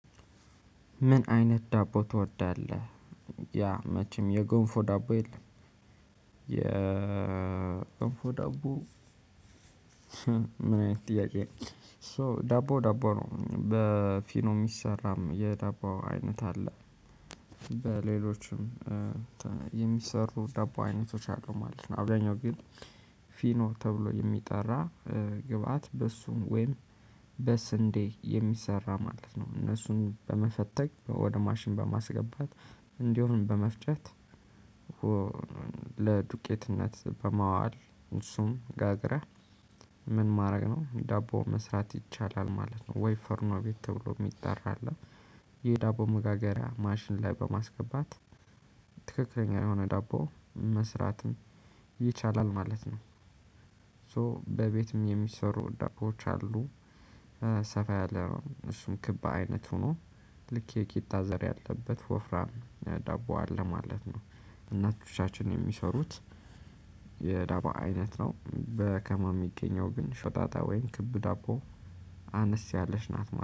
ምን አይነት ዳቦ ትወዳለህ? ያ መቼም የጎንፎ ዳቦ የለም። የ የገንፎ ዳቦ። ምን አይነት ጥያቄ ነው? ሶ ዳቦ ዳቦ ነው በፊኖ የሚሰራም የዳቦ አይነት አለ። በሌሎችም የሚሰሩ ዳቦ አይነቶች አሉ ማለት ነው። አብዛኛው ግን ፊኖ ተብሎ የሚጠራ ግብአት በእሱም ወይም በስንዴ የሚሰራ ማለት ነው። እነሱን በመፈተግ ወደ ማሽን በማስገባት እንዲሁም በመፍጨት። ለዱቄትነት በማዋል እሱን ጋግረን ምን ማድረግ ነው ዳቦ መስራት ይቻላል ማለት ነው። ወይ ፉርኖ ቤት ተብሎ የሚጠራ አለ። የዳቦ መጋገሪያ ማሽን ላይ በማስገባት ትክክለኛ የሆነ ዳቦ መስራትም ይቻላል ማለት ነው። ሶ በቤትም የሚሰሩ ዳቦወች አሉ። ሰፋ ያለ እሱም ክብ አይነት ሆኖ ልክ የቂጣ ዘር ያለበት ወፍራም ዳቦ አለ ማለት ነው። እናቶቻችን የሚሰሩት። የዳቦ አይነት ነው በከተማ የሚገኘው ግን ሾጣጣ ወይም ክብ ዳቦ አነስ ያለሽ ናት